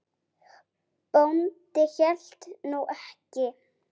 Bóndi hélt nú ekki.